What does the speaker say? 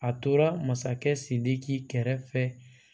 A tora masakɛ sidiki kɛrɛfɛ